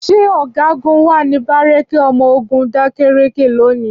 Ṣé ọ̀gágun wà ní bárékè ọmọ ogun dákèrékè lónìí?